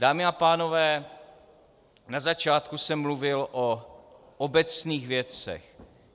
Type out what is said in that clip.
Dámy a pánové, na začátku jsem mluvil o obecných věcech.